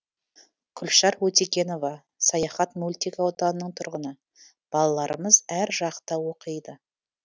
күлшар өтегенова саяхат мөлтек ауданының тұрғыны балаларымыз әр жақта оқиды